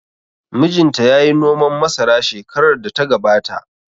Mijin ta yayi noman masara shekarar da ta gabata